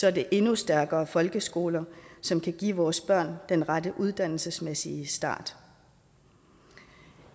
er det endnu stærkere folkeskoler som kan give vores børn den rette uddannelsesmæssige start